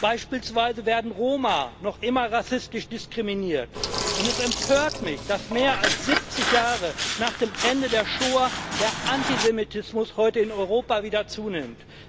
Beispielsweise werden Roma noch immer rassistisch diskriminiert, und es empört mich, dass mehr als 70 Jahre nach dem Ende der Schoah der Antisemitismus heute in Europa wieder zunimmt.